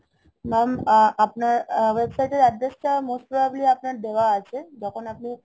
Mam, uh~ আপনার website এর address টা most probably আপনার দেয়া আছে, যখন আপনি